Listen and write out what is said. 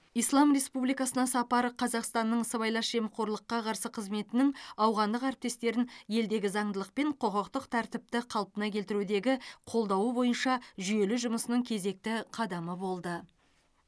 ислам республикасына сапары қазақстанның сыбайлас жемқорлыққа қарсы қызметінің ауғандық әріптестерін елдегі заңдылық пен құқықтық тәртіпті қалпына келтірудегі қолдауы бойынша жүйелі жұмысының кезекті қадамы болды